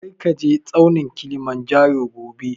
Kar ka je tsaunin Kilimanjaro gobe!